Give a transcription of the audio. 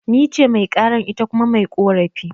Nice Mai karan, ita kuma mai ƙorafi